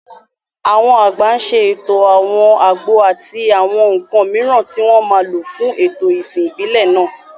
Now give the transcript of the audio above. Àwọn àgbà ń ṣètò àwọn àgbo àti àwọn nǹkan mìíràn tí wọ́n máa lò fún ètò ìsìn ìbílẹ̀ náà.